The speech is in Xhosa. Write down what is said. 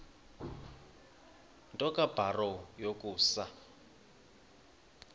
nto kubarrow yokusa